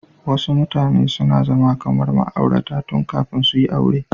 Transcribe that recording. Wasu mutane suna zama kamar ma'aurata tun kafin suyi aure.